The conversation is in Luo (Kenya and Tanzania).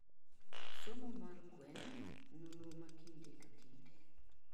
somo mar gweng, ; nonro makinde ka kinde